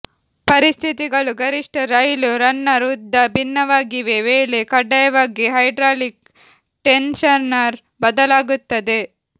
ಪರಿಸ್ಥಿತಿಗಳು ಗರಿಷ್ಟ ರೈಲು ರನ್ನರ್ ಉದ್ದ ಭಿನ್ನವಾಗಿವೆ ವೇಳೆ ಕಡ್ಡಾಯವಾಗಿ ಹೈಡ್ರಾಲಿಕ್ ಟೆನ್ಷನರ್ ಬದಲಾಗುತ್ತದೆ